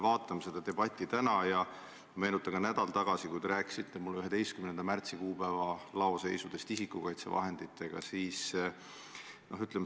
Vaatame seda debatti täna ja meenutame, et nädal tagasi te rääkisite mulle isikukaitsevahendite 11. märtsi kuupäeva laoseisust.